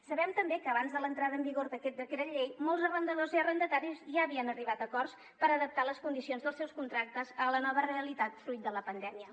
sabem també que abans de l’entrada en vigor d’aquest decret llei molts arrendadors i arrendataris ja havien arribat a acords per adaptar les condicions dels seus contractes a la nova realitat fruit de la pandèmia